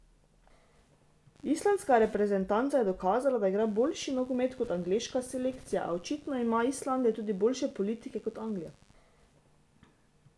Islandska reprezentanca je dokazala, da igra boljši nogomet kot angleška selekcija, a očitno ima Islandija tudi boljše politike kot Anglija.